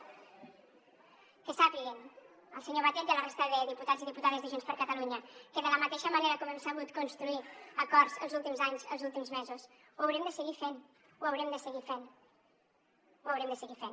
que sàpiguen el senyor batet i la resta de diputats i diputades de junts per catalunya que de la mateixa manera com hem sabut construir acords els últims anys els últims mesos ho haurem de seguir fent ho haurem de seguir fent ho haurem de seguir fent